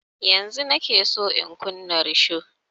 Yanzun nike son in kunna risho